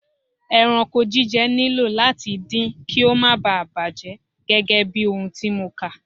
Ẹranko jíjẹ nílò láti din kí ó má bà bàjẹ́ gẹ́gẹ́bí ohun tí mo kà.